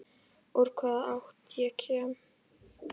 Úr hvaða átt ég kem.